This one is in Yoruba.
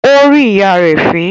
Ó rín ìyá rẹ̀ fín